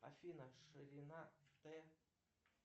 афина ширина т